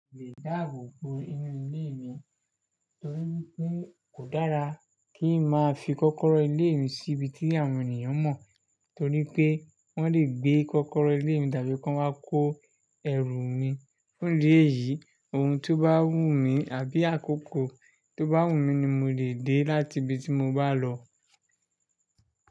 Idáàbò bo inú ilé mi torí pé kò dára kí n máa fi kọ́kọ́rọ́ ilé mi síbi tí àwọn ènìyàn mọ̀ torí pé wọ́n lè gbé kọ́kọ́rọ́ ilé mi tàbí kọ́ wá kó ẹrù mi. Fundi eyìí ohun tó bá wù mí àbí àkókò tó bá wù mí ni mo lè dé láti ibi tí mo bá lọ.